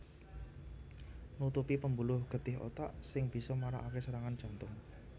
Nutupi pembuluh getih otak sing bisa marakake serangan jantung